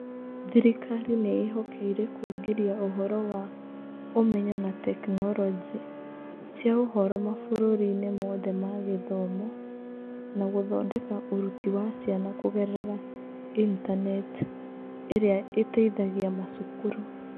Thirikari nĩ ĩĩhokeire kũingĩria ũhoro wa ũmenyo na tekinoronjĩ cia ũhoro mabũrũriinĩ mothe ma gĩthomo, na gũthondeka ũruti wa ciana kũgerera Intaneti ĩrĩa ĩteithagia macukuru.